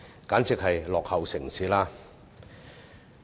簡直是落後城市。